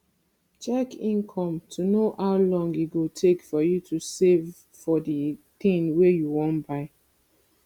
check income to know how long e go take for you to save for di thing wey you wan buy